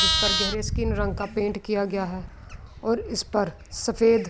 جس پر گہرے سکیں رنگ کا پینٹ کیا گیا ہے اور اس پر سفید--